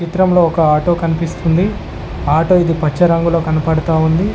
చిత్రంలో ఒక ఆటో కన్పిస్తుంది ఆటో ఇది పచ్చ రంగులో కన్పడ్తా ఉంది.